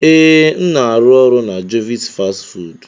Ee, m na-arụ ọrụ na jovit fastị fụụdụ.